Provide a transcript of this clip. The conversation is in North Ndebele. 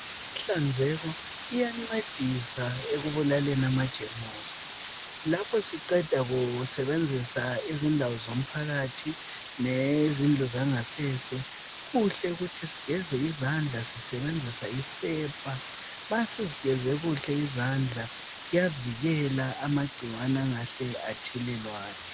Inhlanzeko iyancedisa ekubulaleni amajemjusi. Lapho siqeda kusebenzisa izindawo zomphakathi lezindlu zangasese, kuhle ukuthi sigeze sisebenzisa isepa. Nxa sezigeze kuhla izandla, kuyavikelwa amagcikwane angahle athelelwane.